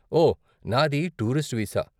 ఓ, నాది tourist visa.